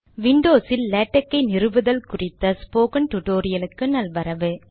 Windows இல் LaTeX ஐ நிறுவுவதல் குறித்த டுடோரியலுக்கு நல்வரவு